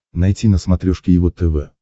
найти на смотрешке его тв